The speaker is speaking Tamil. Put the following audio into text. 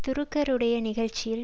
டுருக்கருடைய நிகழ்ச்சியில்